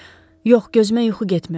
Yox, gözümə yuxu getmir.